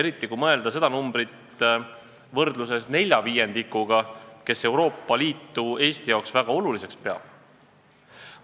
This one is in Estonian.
Eriti kui võrrelda seda numbrit nelja viiendikuga vastanutest, kes Euroopa Liitu Eesti jaoks väga oluliseks peab.